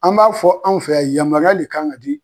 An b'a fɔ anw fɛ yan yamaruya le kan ka di